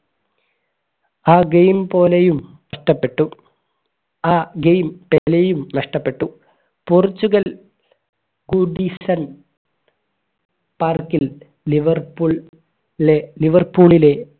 ആ game പോലെയും നഷ്ടപ്പെട്ടു ആ game പെലെയും നഷ്ടപ്പെട്ടു പോർച്ചുഗൽ park ൽ ലിവർപൂൾ ലെ ലിവർപൂളിലെ